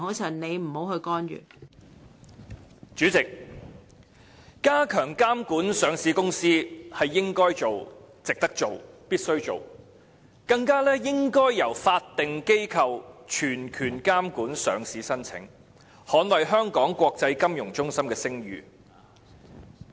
代理主席，加強監管上市公司是應該做、值得做、必須做的事情，而且應該由法定機構全權監管上市申請，捍衞香港國際金融中心的聲譽。